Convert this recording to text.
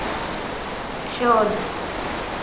शोध